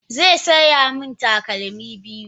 Zai saya mini takalmi biyu.